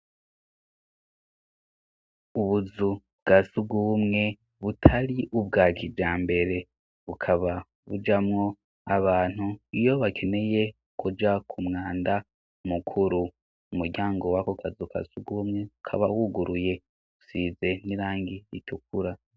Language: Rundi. Ubuzu bwa sugubumwe butari ubwa kijambere, bukaba bujamwo abantu iyo bakeneye kuja ku mwanda mukuru. Umuryango wako kazu ka sugumwe ukaba wuguruye usize n'irangi ritukura.